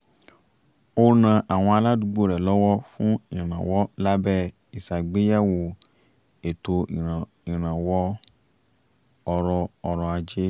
ó ran àwọn aládùúgbò rẹ̀ lọ́wọ́ fún ìrànwọ́ lábẹ́ ìṣàgbéyẹ̀wò ètò ìrànwọ́ ọrọ̀ ajé